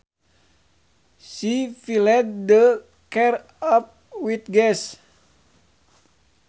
She filled the car up with gas